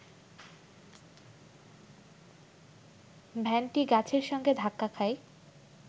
ভ্যানটি গাছের সঙ্গে ধাক্কা খায়